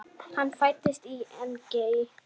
Hann fæddist í Engey.